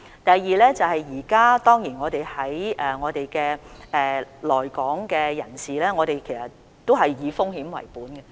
第二，現時我們對來港人士的處理都是以風險為本。